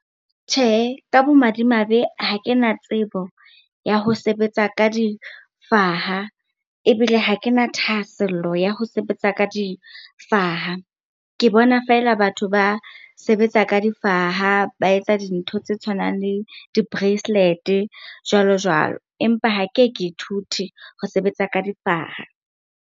Tjhehe, ka bomadimabe ha ke na tsebo ya ho sebetsa ka difaha ebile ha ke na thahasello ya ho sebetsa ka difaha. Ke bona feela batho ba sebetsa ka difaha, ba etsa dintho tse tshwanang le di-bracelet-e jwalo-jwalo. Empa ha ke ke ithute ho sebetsa ka difaha.